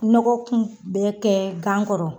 Nɔgɔ kun bɛ kɛ gan kɔrɔ